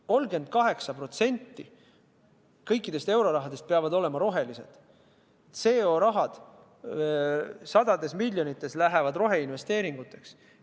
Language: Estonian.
38% kõikidest eurorahadest peab olema roheline, sajad miljonid CO2-raha läheb roheinvesteeringuteks.